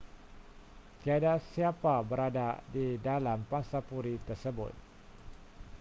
tiada siapa berada di dalam pangsapuri tersebut